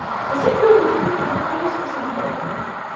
Você sempre tem um motivo, principalmente quando é essa questão de terra, né?